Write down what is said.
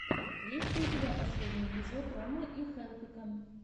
есть ли у тебя последний эпизод ромы и хелпика